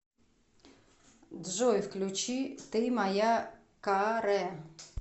джой включи ты моя ка ре